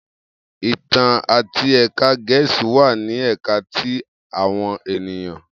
Itan ati Ẹka Gẹẹsi wa ni Ẹka ti awọn eniyan